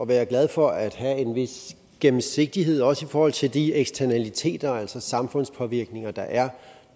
være glade for at have en vis gennemsigtighed også i forhold til de eksternaliteter altså samfundspåvirkninger der er